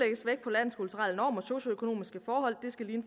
socioøkonomiske forhold de skal ligne